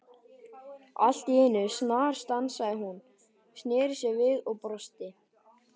Allt í einu snarstansaði hún, snéri sér við og brosti.